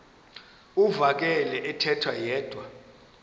uvakele ethetha yedwa